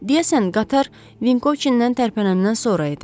Deyəsən qatar Vinkovçindən tərpənəndən sonra idi.